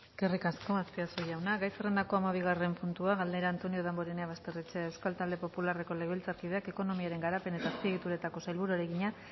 eskerrik asko azpiazu jauna gai zerrendako hamabigarren puntua galdera antonio damborenea basterrechea euskal talde popularreko legebiltzarkideak ekonomiaren garapen eta azpiegituretako sailburuari egina